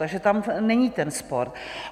Takže tam není ten spor.